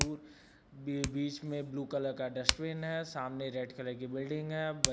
दूर बी बीच में ब्लू कलर का डस्टबिन है। सामने रेड कलर की बिल्डिंग है। ब --